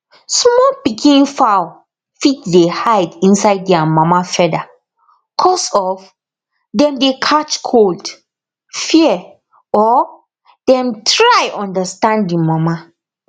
small pikin fowl fit dey hide inside their mama feather cos of dem dey catch cold fear or dem try understand the mama